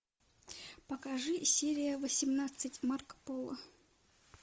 покажи серия восемнадцать марко поло